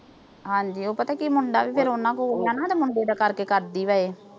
ਹਾਂਜੀ ਉਹ ਪਤਾ ਕੀ ਆ। ਮੁੰਡਾ ਵੀ ਫਿਰ ਉਨ੍ਹਾਂ ਕੋਲ ਹੋਗਿਆ ਨਾ। ਮੁੰਡੇ ਦਾ ਕਰਕੇ ਕਰਦੀ ਵੀ ਆ ਇਹ